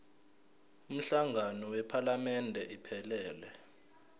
umhlangano wephalamende iphelele